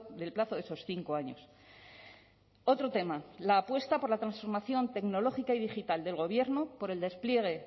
del plazo de esos cinco años otro tema la apuesta por la transformación tecnológica y digital del gobierno por el despliegue